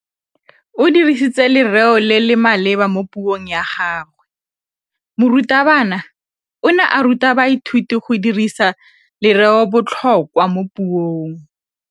O dirisitse lerêo le le maleba mo puông ya gagwe. Morutabana o ne a ruta baithuti go dirisa lêrêôbotlhôkwa mo puong.